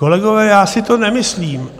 Kolegové, já si to nemyslím.